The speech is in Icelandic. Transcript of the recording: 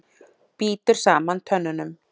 Bítur saman tönnunum.